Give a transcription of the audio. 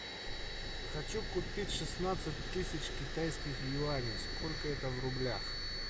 хочу купить шестнадцать тысяч китайских юаней сколько это в рублях